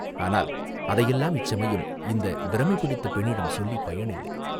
ஆனால் அதையெல்லாம் இச்சமயம் இந்தப் பிரமை பிடித்த பெண்ணிடம் சொல்லிப் பயனில்லை.